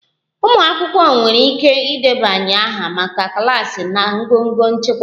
Umụ akwụkwọ nwere ike ịdebanye aha maka klaasị na ngọngọ nchịkwa